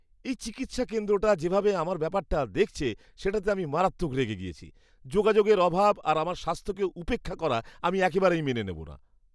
এই চিকিৎসা কেন্দ্রটা যেভাবে আমার ব্যাপারটা দেখেছে সেটাতে আমি মারাত্মক রেগে গিয়েছি। যোগাযোগের অভাব আর আমার স্বাস্থ্যকে উপেক্ষা করা আমি একেবারেই মেনে নেব না।